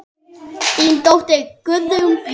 Þín dóttir, Guðrún Björg.